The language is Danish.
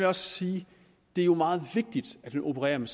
også sige at det jo er meget vigtigt at vi opererer med